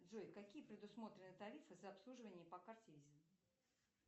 джой какие предусмотрены тарифы за обслуживание по карте виза